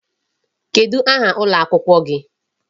Kedụ aha ụlọ akwụkwọ gị?